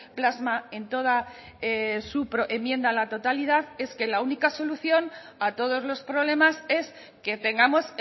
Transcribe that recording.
plasma en toda su enmienda a la totalidad es que la única solución a todos los problemas es que tengamos